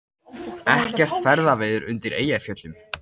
Ekkert ferðaveður undir Eyjafjöllum